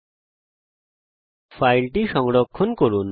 এখন ফাইলটি সংরক্ষণ করি